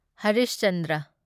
Harish Chandra